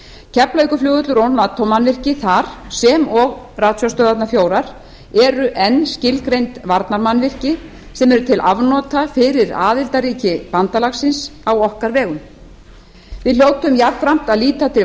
keflavíkurflugvöllur og nato mannvirki þar sem og ratsjárstöðvarnar fjórar eru enn skilgreind varnarmannvirki sem eru til afnota fyrir aðildarríki bandalagsins á okkarveru við hljótum jafnframt að líta til